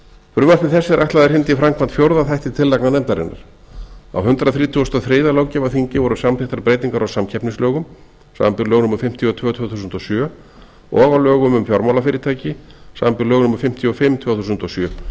frumvarpi þessu er ætlað að hrinda í framkvæmd fjórða þætti tillagna nefndarinnar á hundrað þrítugasta og þriðja löggjafarþingi voru samþykktar breytingar á samkeppnislögum samanber lög númer fimmtíu og tvö tvö þúsund og sjö og á lögum fjármálafyrirtæki samanber lög númer fimmtíu og fimm tvö þúsund og sjö